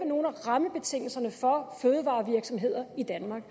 nogle af rammebetingelserne for fødevarevirksomheder i danmark